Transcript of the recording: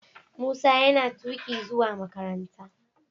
Musa yana tuki zuwa makaranta.